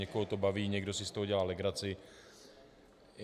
Někoho to baví, někdo si z toho dělá legraci.